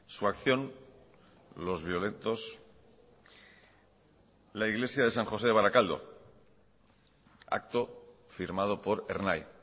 su acción los violentos la iglesia de san josé de barakaldo acto firmado por ernai